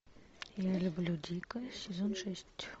я люблю дика сезон шесть